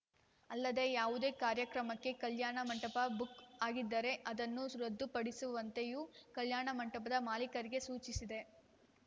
ಅಲ್ಲದೆ ಯಾವುದೇ ಕಾರ್ಯಕ್ರಮಕ್ಕೆ ಕಲ್ಯಾಣ ಮಂಟಪ ಬುಕ್‌ ಆಗಿದ್ದರೆ ಅದನ್ನು ಸು ರದ್ದುಪಡಿಸುವಂತೆಯೂ ಕಲ್ಯಾಣ ಮಂಟಪದ ಮಾಲೀಕರಿಗೆ ಸೂಚಿಸಿದೆ